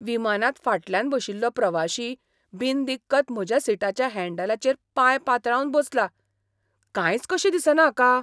विमानांत फाटल्यान बशिल्लो प्रवाशी बिनदिक्कत म्हज्या सिटाच्या हँडलांचेर पाय पातळावन बसला. कांयच कशें दिसना हाका!